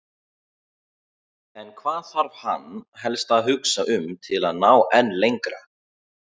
En hvað þarf hann helst að hugsa um til að ná enn lengra?